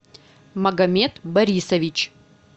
магомед борисович